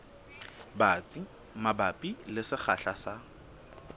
batsi mabapi le sekgahla sa